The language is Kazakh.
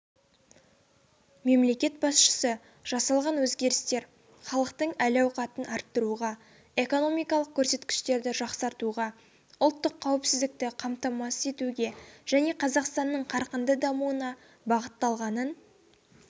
мемлекет басшысы жасалған өзгерістер халықтың әл-ауқатын арттыруға экономикалық көрсеткіштерді жақсартуға ұлттық қауіпсіздікті қамтамасыз етуге және қазақстанның қарқынды дамуына бағытталғанын